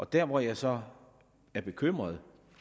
der hvor jeg så er bekymret